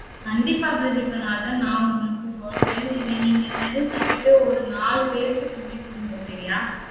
கண்டிப்பா பிரதீபநாதன் நான் உங்களுக்கு சொல்றேன். இதை நீங்க தெரிஞ்சுக்கிட்டு, ஒரு நாலு பேருக்கு சொல்லிக்குடுங்க சரியா?